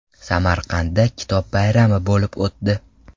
Samarqandda Kitob bayrami bo‘lib o‘tdi.